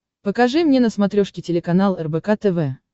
покажи мне на смотрешке телеканал рбк тв